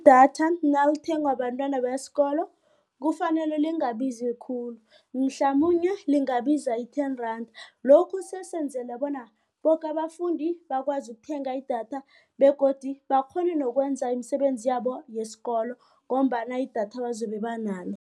Idatha nalithengwa bentwana besikolo kufanele lingabizi khulu mhlamunye lingabiza i-ten rand. Lokhu sesenzela bona boke abafundi bakwazi ukuthenga idatha begodu bakghone nokwenza imisebenzi yabo yesikolo ngombana idatha abazobe banalo.